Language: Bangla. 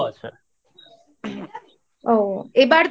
ঠিক আছে। ও